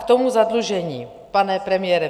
K tomu zadlužení, pane premiére.